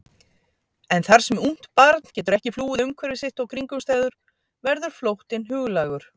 En þar sem ungt barn getur ekki flúið umhverfi sitt og kringumstæður verður flóttinn huglægur.